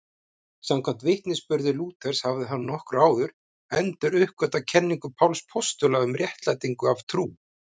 Samkvæmt vitnisburði Lúthers hafði hann nokkru áður enduruppgötvað kenningu Páls postula um réttlætingu af trú.